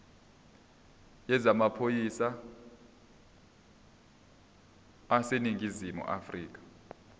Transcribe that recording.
yezamaphoyisa aseningizimu afrika